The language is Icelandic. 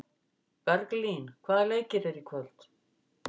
Berglín, hvaða leikir eru í kvöld?